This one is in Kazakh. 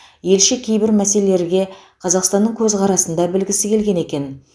елші кейбір мәселелерге қазақстанның көзқарасын да білгісі келген екен